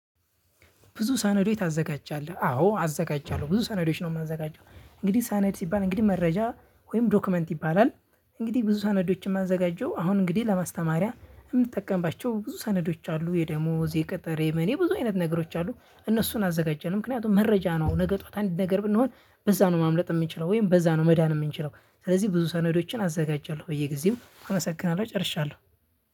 ብዙ ሰነዶች ታዘጋጃለህ? አዎ አዘጋጃለሁ ብዙ ሰነዶች ነው የማዘጋጀው እንግዲህ ሰነድ ሲባል እንግዲህ መረጃ ወይም ዶክመንት ይባላል። እንግዲህ ብዙ ሰነዶችን የማዘጋጀው አሁን እንግዲህ ለማስተማሪያ የምንጠቀምባቸው ብዙ ሰነዶች አሉ። የደሞዝ የቅጥር የምን ብዙ አይነት ነገሮች አሉ እነሱን አዘጋጃለሁ ምክንያቱም መረጃ ነው ነገ ጠዋት አንድ ነገር ብንሆን በዛ ነው ማምለጥ የምንችለው ወይም በዛ ነው መዳን የምንችለው ስለዚህ ብዙ ሰነዶችን አዘጋጃለሁ በየጊዜው አመሰግናለሁ ጨርሻለሁ።